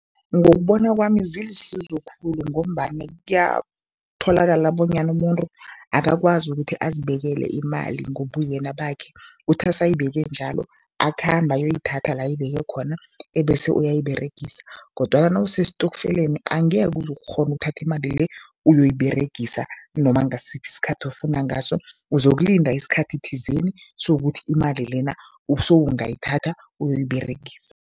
Ngokubona kwami zilisizo khulu ngombana kuyatholakala bonyana umuntu akakwazi ukuthi azibekele imali ngobuyena bakhe. Uthi asayibeke njalo, akhambe ayoyithatha la ayibeke khona ebese uyayiberegisa kodwana nawusestokfeleni, angeke uze ukghone ukuthatha imali le uyoyiberegisa noma ngasiphi isikhathi ofuna ngaso, uzokulinda isikhathi thizeni sokuthi imali lena usungayithatha uyoyiberegisa.